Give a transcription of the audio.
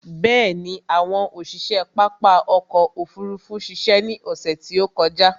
Bẹ̀ẹ̀ni, àwọn òṣiṣe pápá ọkò òfurufú ṣiṣẹ́ ní ọsẹ̀ tí ó kọjá.